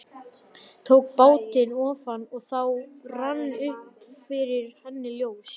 Tók bátinn ofan og þá rann upp fyrir henni ljós.